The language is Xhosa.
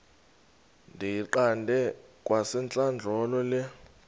ndiyiqande kwasentlandlolo le